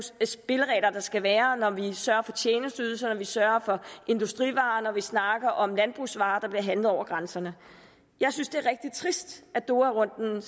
spilleregler der skal være når vi sørger for tjenesteydelser når vi sørger for industrivarer når vi snakker om landbrugsvarer der bliver handlet over grænserne jeg synes det er rigtig trist at doharunden er